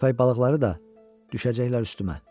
Köpək balıqları da düşəcəklər üstümə.